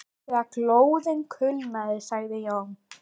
Þegar glóðin kulnaði sagði Jón